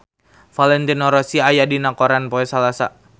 Valentino Rossi aya dina koran poe Salasa